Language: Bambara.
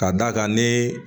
Ka d'a kan ni